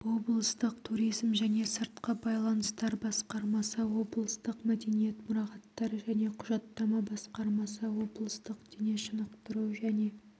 облыстық туризм және сыртқы байланыстар басқармасы облыстық мәдениет мұрағаттар және құжаттама басқармасы облыстық дене шынықтыру және